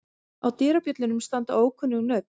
Á dyrabjöllunum standa ókunnug nöfn.